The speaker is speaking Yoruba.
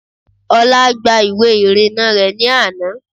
Olá gba ìwé ìrìnnà rẹ̀ ní àná